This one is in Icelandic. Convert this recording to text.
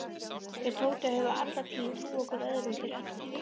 Þeir Tóti höfðu alla tíð trúað hvor öðrum fyrir öllu.